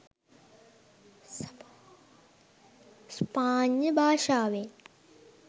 ස්පාඤ්ඤ භාෂාවෙන්